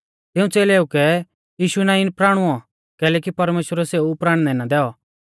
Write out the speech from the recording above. तिऊं च़ेलेऊ कै यीशु नाईं प्राणुऔ कैलैकि परमेश्‍वरै सेऊ प्राणनै ना दैऔ